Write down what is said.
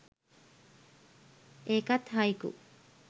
ඒකත් හයිකු